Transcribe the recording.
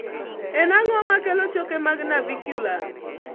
En ang'o makelo choke mag navicular?